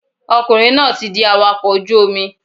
Ọkùnrin náà ti di awakọ̀ ojú Omi